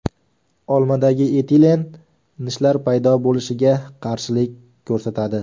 Olmadagi etilen nishlar paydo bo‘lishiga qarshilik ko‘rsatadi.